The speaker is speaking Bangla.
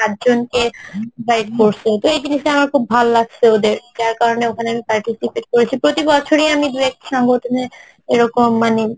পাঁচজনকে provide করসে এই জিনিষটা আমার খুব ভাল লাগসে ওদের যার কারণে ওখানে আমি participate করেছে প্রতি বছরই আমি দু একটা সংগঠনে এইরকম মানে